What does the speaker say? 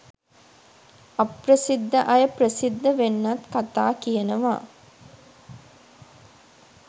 අප්‍රසිද්ධ අය ප්‍රසිද්ධ වෙන්නත් කතා කියනවා.